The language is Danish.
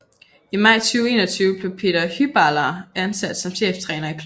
I maj 2021 blev Peter Hyballa ansat som cheftræner i klubben